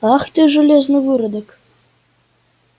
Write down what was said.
ах ты железный выродок